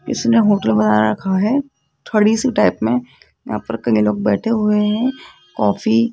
इसने होटल बना रखा है थोड़ी सी टाइप में यहाँ पर कई लोग बैठे हुए हैं कॉफी --